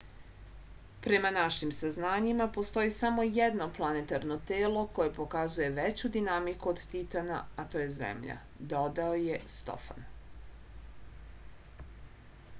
prema našim saznanjima postoji samo jedno planetarno telo koje pokazuje veću dinamiku od titana a to je zemlja dodao je stofan